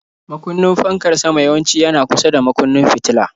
Makunnin fankar sama yawanci yana kusa da makunnin fitila.